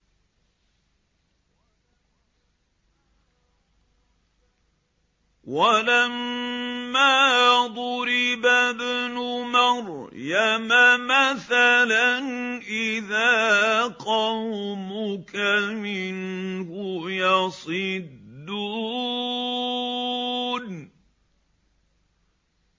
۞ وَلَمَّا ضُرِبَ ابْنُ مَرْيَمَ مَثَلًا إِذَا قَوْمُكَ مِنْهُ يَصِدُّونَ